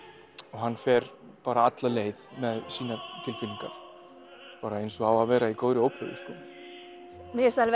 hann fer bara alla leið með sínar tilfinningar bara eins og á að vera í góðri óperu mér finnst alveg